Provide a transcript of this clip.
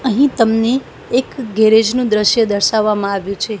અહીં તમને એક ગેરેજ નું દ્રશ્ય દર્શાવવામાં આવ્યું છે.